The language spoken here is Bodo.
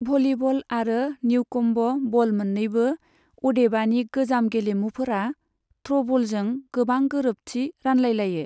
भलीबल आरो निउकम्ब बल मोननैबो, अदेबानि गोजाम गेलेमुफोरा, थ्र'बलजों गोबां गोरोबथि रानलायलायो।